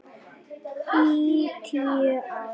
Í tíu ár.